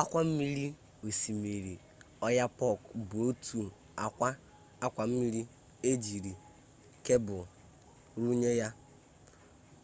akwammiri osimiri oyapock bụ otu akwa mmiri ejiri kebul runye ya